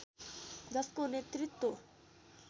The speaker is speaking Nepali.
जसको नेतृत्व